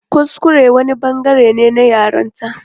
Kuskure wani bangare ne na yaranta.